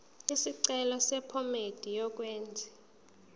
isicelo sephomedi yokwenze